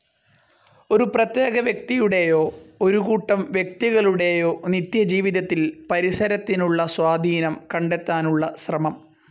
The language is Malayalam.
ഒരു പ്രത്യേക വ്യക്തിയുടേയോ, ഒരു കൂട്ടം വ്യക്തികളുടേയോ നിത്യജീവിതത്തിൽ പരിസരത്തിനുള്ള സ്വാധീനം കണ്ടെത്താനുള്ള ശ്രമം.